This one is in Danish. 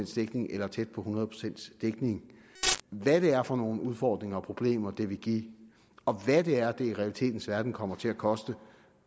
dækning eller tæt på hundrede procent dækning hvad det er for nogle udfordringer og problemer det vil give og hvad det er det i realitetens verden kommer til at koste